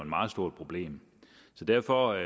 meget stort problem så derfor